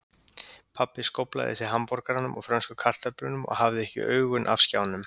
Pabbi skóflaði í sig hamborgaranum og frönsku kartöflunum og hafði ekki augun af skjánum.